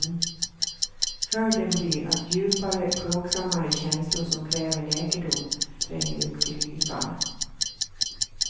Följden blir att djupare, plågsammare känslor som kräver läkedom tränger upp till ytan.